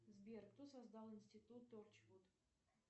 сбер кто создал институт торчвуд